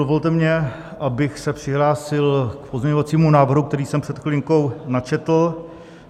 Dovolte mi, abych se přihlásil k pozměňovacímu návrhu, který jsem před chvilinkou načetl.